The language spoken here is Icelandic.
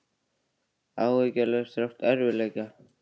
Áhyggjulaus þrátt fyrir erfiðleika